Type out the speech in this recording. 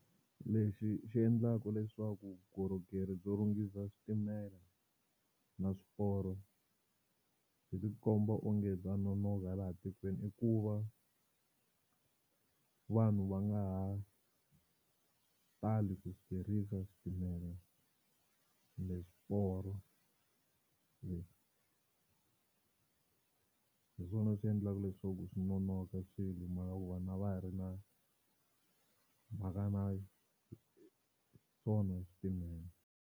Lexi xi endlaka leswaku vukorhokeri byo lunghisa switimela na swiporo byi tikomba onge bya nonohwa laha tikweni i ku va vanhu va nga ha tali ku tirhisa xitimela kumbe swiporo, hi swona swi endlaka leswaku swi nonoka swilo hi mhaka ku vanhu a va ha ri na mhaka na swona switimela.